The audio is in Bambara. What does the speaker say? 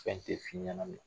Fɛn tɛ f'i ɲɛna mɛ